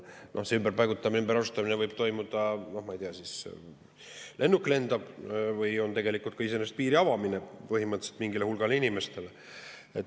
See ümberpaigutamine, ümberasustamine võib toimuda, ma ei tea, nii, et lennuk lendab kohale või on tegelikult ka võimalik iseenesest piiri avamine põhimõtteliselt mingile hulgale inimestele.